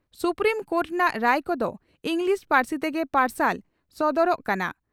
Supreme court ᱨᱮᱱᱟᱜ ᱨᱟᱭ ᱠᱚᱫᱚ ᱤᱸᱜᱽᱞᱤᱥ ᱯᱟᱹᱨᱥᱤ ᱛᱮᱜᱮ ᱯᱟᱨᱥᱟᱞ ᱥᱚᱫᱚᱨᱚᱜ ᱠᱟᱱᱟ ᱾